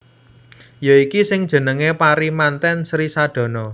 Ya iki sing jenengé pari mantèn Sri Sadana